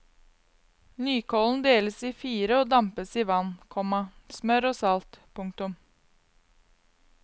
Nykålen deles i fire og dampes i vann, komma smør og salt. punktum